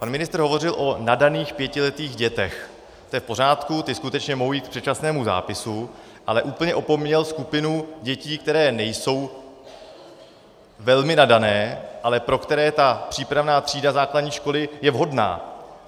Pan ministr hovořil o nadaných pětiletých dětech, to je v pořádku, ty skutečně mohou jít k předčasnému zápisu, ale úplně opomněl skupinu dětí, které nejsou velmi nadané, ale pro které ta přípravná třída základní školy je vhodná.